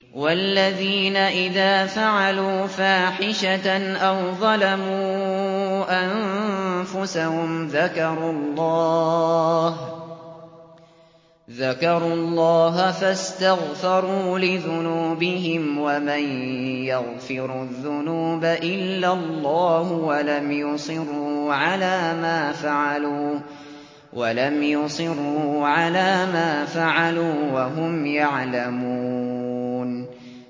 وَالَّذِينَ إِذَا فَعَلُوا فَاحِشَةً أَوْ ظَلَمُوا أَنفُسَهُمْ ذَكَرُوا اللَّهَ فَاسْتَغْفَرُوا لِذُنُوبِهِمْ وَمَن يَغْفِرُ الذُّنُوبَ إِلَّا اللَّهُ وَلَمْ يُصِرُّوا عَلَىٰ مَا فَعَلُوا وَهُمْ يَعْلَمُونَ